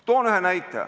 Toon ühe näite.